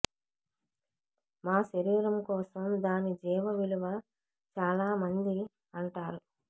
మా శరీరం కోసం దాని జీవ విలువ చాలా మంది అంటారు